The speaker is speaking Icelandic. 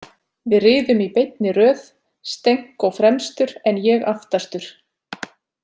Við riðum í beinni röð, Stenko fremstur en ég aftastur.